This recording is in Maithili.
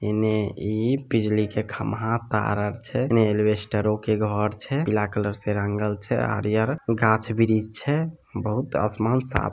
एने इ बिजली के खम्बा तार आर छे एनी अल्बेस्तारों के घरों छे पिला कलर से रंगल छे हरिअर घाच बिरिझ छे बहुत आसमान साफ--